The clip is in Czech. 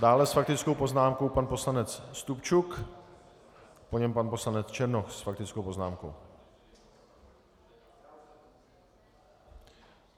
Dále s faktickou poznámkou pan poslanec Stupčuk, po něm pan poslanec Černoch s faktickou poznámkou.